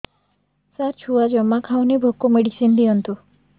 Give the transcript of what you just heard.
ସାର ଛୁଆ ଜମା ଖାଉନି ଭୋକ ମେଡିସିନ ଦିଅନ୍ତୁ